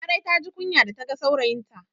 Larai ta ji kunya da ta ga saurayinta